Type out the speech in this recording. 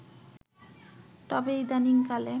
তবে ইদানিং কালে